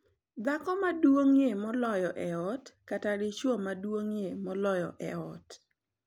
dhako maduong’ie moloyo e ot kata dichwo maduong’ie moloyo e ot.